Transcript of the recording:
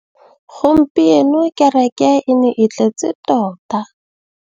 Gompieno kêrêkê e ne e tletse tota.